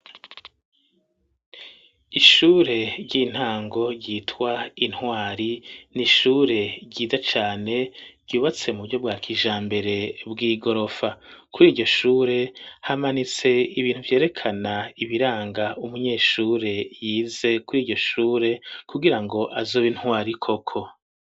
Ishure ry'intango ryitwa intwari nishure ryiza cane ryubatse mu buryo bwa kija mbere bw'igorofa kuri iyo shure hamanitse ibintu vyerekana ibiranga umunyeshure yize kuri iryo shure kugira ngo azoba intwari koko.